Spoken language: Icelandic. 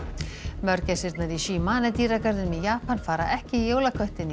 Shimane dýragarðinum í Japan fara ekki í jólaköttinn í